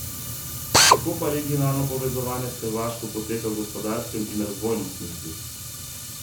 Kako pa regionalno povezovanje s Hrvaško poteka v gospodarskem in razvojnem smislu?